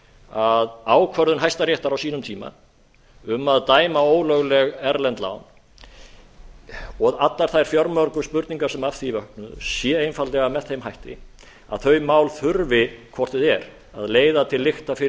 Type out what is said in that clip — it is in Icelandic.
að ákvörðun hæstaréttar á sínum tíma um að dæma ólögleg erlend lán og allar þær fjölmörgu spurningar sem af því vöknuðu séu einfaldlega með þeim hætti að þau mál þurfi hvort eð er að leiða til lykta fyrir